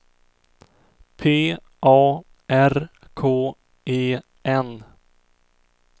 P A R K E N